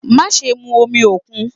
Maṣe mu omi okun!